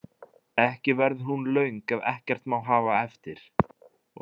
Ekki verður hún löng ef ekkert má hafa eftir.